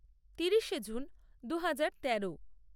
তিরিশে জুন দু হাজার তেরো